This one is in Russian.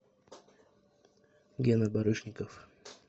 гена барышников